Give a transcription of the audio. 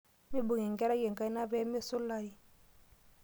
Mibung' enkerai enkaina pee mesulari.